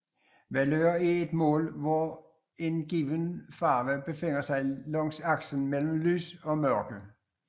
Valør er et mål for hvor en given farve befinder sig langs aksen mellem lys og mørke